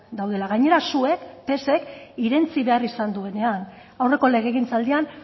daudela gainera zuek psek irentsi behar izan duenean aurreko legegintzaldian